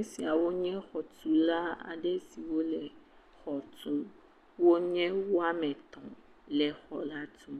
Esiawo nye xɔ tula aɖe siwo le xɔ tum. Wonye wòa me etɔ le xɔ la tum.